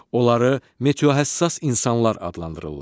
Onları meteohəssas insanlar adlandırırlar.